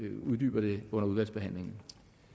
uddyber det under udvalgsbehandlingen